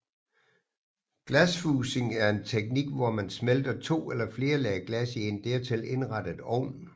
Glasfusing er en teknik hvor man smelter to eller flere lag glas i en dertil indrettet ovn